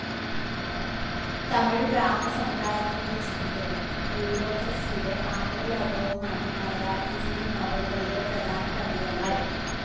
തമിഴ് ബ്രാഹ്മണ സമുദായത്തിന്റെ ജീവിതവും ബ്യൂറോക്രസിയുടെ ആന്തരലോകവുമാണ് മലയാറ്റൂരിന്റെ നോവലുകളിലെ പ്രധാന പ്രമേയങ്ങൾ.